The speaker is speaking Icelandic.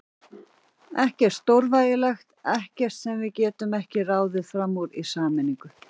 Ekkert stórvægilegt, ekkert sem við getum ekki ráðið fram úr í sameiningu.